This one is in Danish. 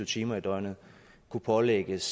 timer i døgnet kunne pålægges